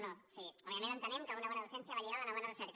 o sigui òbviament entenem que una bona docència va lligada a una bona recerca